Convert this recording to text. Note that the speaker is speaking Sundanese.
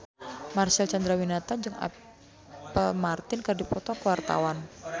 Marcel Chandrawinata jeung Apple Martin keur dipoto ku wartawan